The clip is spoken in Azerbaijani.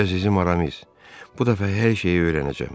Əzizim Aramis, bu dəfə hər şeyi öyrənəcəm.